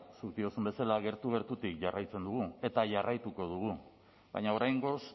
zuk diozun bezala gertu gertutik jarraitzen dugu eta jarraituko dugu baina oraingoz